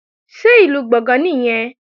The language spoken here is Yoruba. Ṣé Ìlú Gbọ̀ngán nìyẹn?